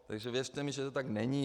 Takže věřte mi, že to tak není.